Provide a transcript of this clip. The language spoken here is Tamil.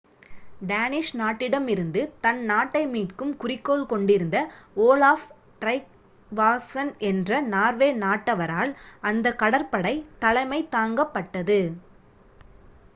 டேனிஷ் நாட்டிடமிருந்து தன் நாட்டை மீட்கும் குறிக்கோள் கொண்டிருந்த ஓலாஃப் ட்ரைக்வாஸ்சன் என்ற நார்வே நாட்டவரால் அந்த கடற்படை தலைமை தாங்கப்பட்டது